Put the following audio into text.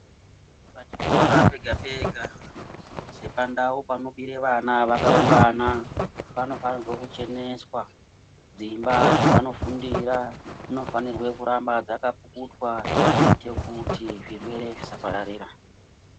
Pachikora pega pega sepandau panobira vana vakaungana, panofanire kucheneswa. Dzimba dzavanofundira dzinofanire kuramba dzeipukutwa kuitire kuti zvirwere zvisapararira.